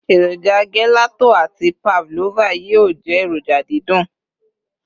eroja gelato ati pavlova yíò je eroja didun